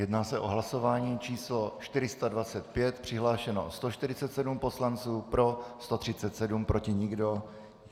Jedná se o hlasování číslo 425, přihlášeno 147 poslanců, pro 137, proti nikdo.